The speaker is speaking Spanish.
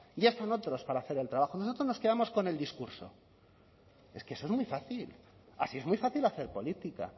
ya están otros para hacer el trabajo nosotros nos quedamos con el discurso es que eso es muy fácil así es muy fácil hacer política